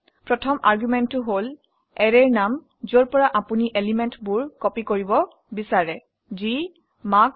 প্ৰথম আৰ্গুমেন্টটো হল অ্যাৰেৰ নাম যৰ পৰা আপোনি এলিমেন্টবোৰ কপি কৰিব বিচাৰে যি হয় মাৰ্কছ